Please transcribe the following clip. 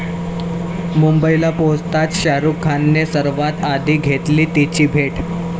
मुंबईला पोहचताच शाहरुखने सर्वात आधी घेतली 'तिची' भेट!